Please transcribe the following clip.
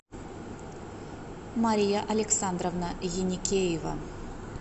мария александровна еникеева